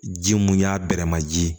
Ji mun y'a bɛrɛ ma ji ye